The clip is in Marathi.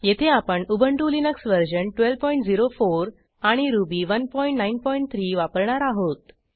येथे आपण उबंटु लिनक्स वर्जन 1204 आणि रुबी 193 वापरणार आहोत